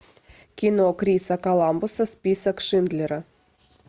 кино криса коламбуса список шиндлера